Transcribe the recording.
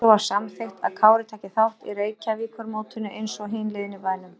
Svo var samþykkt að Kári tæki þátt í Reykjavíkurmótinu einsog hin liðin í bænum.